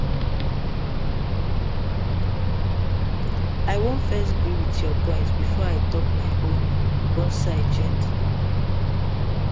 i wan first gree with your point before i talk my own own side gently